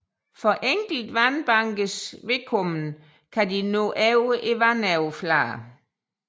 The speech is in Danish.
For enkelte sandbankers vedkommende kan de nå over vandoverfladen